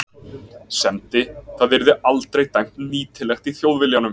semdi- það yrði aldrei dæmt nýtilegt í Þjóðviljanum.